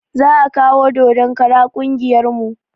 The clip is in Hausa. Za kawo dodon kara ƙungiyar mu